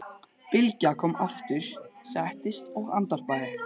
Bylgja kom aftur, settist og andvarpaði.